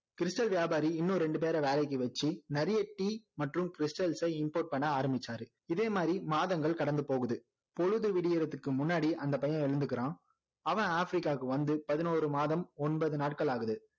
stal வியாபாரி இன்னும் ரெண்டு பேற வேலைக்கு வச்சி நிறைய tea மற்றும் stals ச import பண்ண ஆரம்பிச்சாரு இதே மாதிரி மாதங்கள் கடந்து போகுது பொழுது விடியுறதுக்கு முன்னாடி அந்த பையன் எழுந்துக்கிறான் அவன் ஆப்பிரிக்காவுக்கு வந்து பதனோரு மாதம் ஒன்பது நாட்கள் ஆகுது